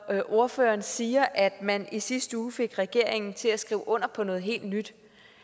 ordføreren siger at man i sidste uge fik regeringen til at skrive under på noget helt nyt